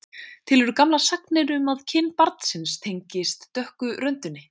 Til eru gamlar sagnir um að kyn barnsins tengist dökku röndinni.